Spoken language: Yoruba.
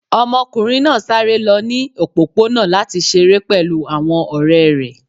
Ọmọkunrin naa sare lọ ni opopona lati ṣere pẹlu awọn ọrẹ rẹ